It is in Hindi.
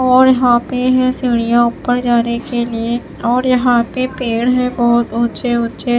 और यहां पे है सीढ़ियां ऊपर जाने के लिए और यहां पे पेड़ है बहुत ऊंचे ऊंचे--